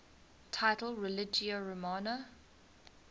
title religio romana